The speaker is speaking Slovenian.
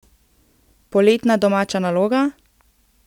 Poletna domača naloga?